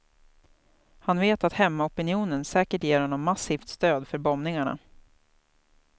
Han vet att hemmaopinionen säkert ger honom massivt stöd för bombningarna.